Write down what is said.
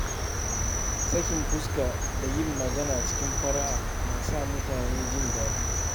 Sakin fuska da yin magana cikin fara’a na sa mutane jin daɗi.